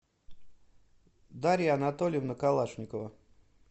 дарья анатольевна калашникова